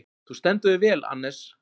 Þú stendur þig vel, Annes!